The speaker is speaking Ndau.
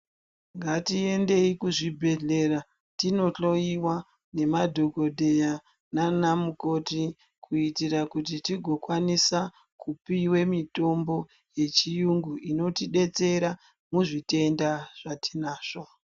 Ngatiendei kuzvibhedhlera tinohloiwa nemadhokodheya naanamukoti kuitira kuti tigokwanisa kupiwe mitombo yechiyungu inotidetsera muzvitenda zvatinazvo.